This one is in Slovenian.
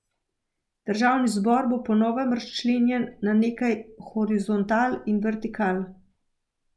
Državni zbor bo po novem razčlenjen na nekaj horizontal in vertikal.